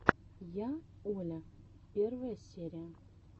я оля первая серия